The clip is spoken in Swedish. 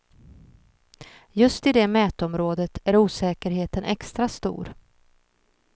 Just i det mätområdet är osäkerheten extra stor.